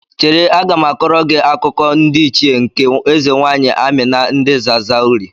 Chere, aga m akọrọ gị akụkọ ndị Ichie nke eze nwaanyị Amina ndị Zazauri.